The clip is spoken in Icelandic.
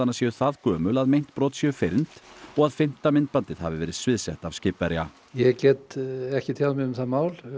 séu það gömul að meint brot séu fyrnd og að fimmta myndbandið hafi verið sviðsett af skipverja ég get ekki tjáð mig um það mál